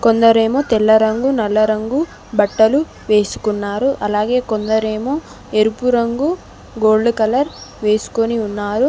కొందరేమో తెల్ల రంగు నల్ల రంగు బట్టలు వేసుకున్నారు అలాగే కొందరేమో ఎరుపు రంగు గోల్డ్ కలర్ వేసుకొని ఉన్నారు.